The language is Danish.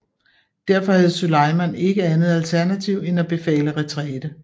Derfor havde Süleyman ikke andet alternativ end at befale retræte